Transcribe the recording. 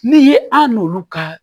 Ni ye an n'olu ka